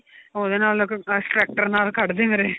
ਉਹਦੇ ਨਾਲ ਨਾਲ ਕੱਢ ਦੇ ਮੇਰੇ